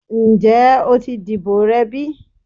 Njẹ o ti dibo rẹ bi?